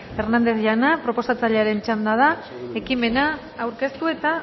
hernández jauna proposatzailearen txanda da ekimena aurkeztu eta